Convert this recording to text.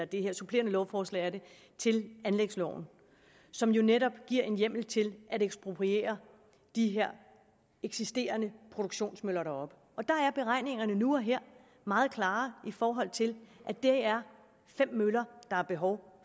det her supplerende lovforslag til anlægsloven som jo netop giver en hjemmel til at ekspropriere de her eksisterende produktionsmøller deroppe der er beregningerne nu og her meget klare i forhold til at det er fem møller der er behov